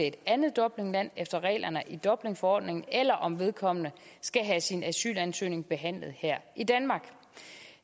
et andet dublinland efter reglerne i dublinforordningen eller om vedkommende skal have sin asylansøgning behandlet her i danmark